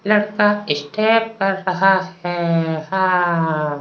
लड़का स्टेप कर रहा है। हा --